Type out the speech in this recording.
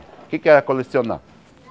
O que é que era colecionar?